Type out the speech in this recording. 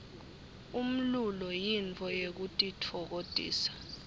umlulo yintfo yekutitfokotisa